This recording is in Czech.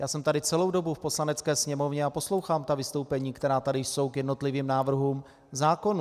Já jsem tady celou dobu v Poslanecké sněmovně a poslouchám ta vystoupení, která tady jsou k jednotlivým návrhům zákonů.